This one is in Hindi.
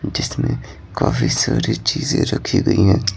जिसमें काफी सारी चीजें रखी गई हैं।